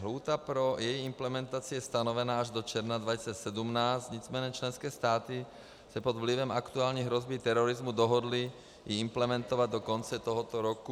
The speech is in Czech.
Lhůta pro její implementaci je stanovená až do června 2017, nicméně členské státy se pod vlivem aktuální hrozby terorismu dohodly ji implementovat do konce tohoto roku.